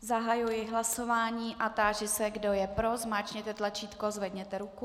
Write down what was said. Zahajuji hlasování a táži se, kdo je pro, zmáčkněte tlačítko, zvedněte ruku.